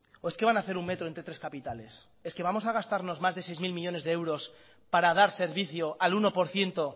o es que van a ser un metro entre tres capitales es que vamos a gastarnos más de seis mil millónes de euros para dar servicio al uno por ciento